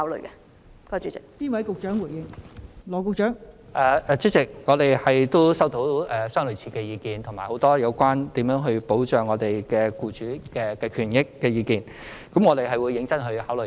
代理主席，我們亦收到類似的意見及很多有關如何保障僱主權益的意見，我們會認真考慮。